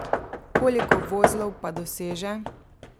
Koliko vozlov pa doseže?